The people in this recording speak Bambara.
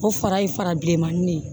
O fara ye fara bilenmanin ne ye